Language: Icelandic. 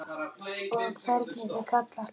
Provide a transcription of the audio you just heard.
Og hvernig þau kallast á.